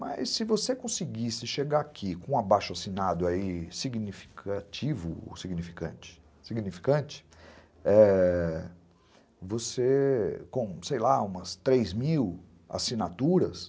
Mas se você conseguisse chegar aqui com um abaixo-assinado aí significativo ou significante, significante, ãh... você com, sei lá, umas três mil assinaturas,